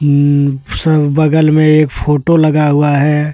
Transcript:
उम sir बगल में एक फोटो लगा हुआ है।